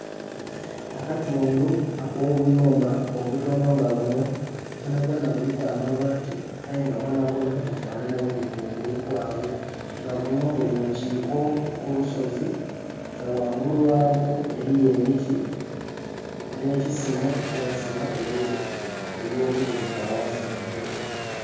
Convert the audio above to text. Akatundhu akobuyumba obutono nga buno bwonabwona buliku amabati ayenga bwonabwona bufanana bubi kungulu kwabwo, nga buno buli mukiko kulusozi nga ghangulu ghabwo eriyo emiti ne'kisimo kyebasima ebyobugaiga ghansi mwitaka.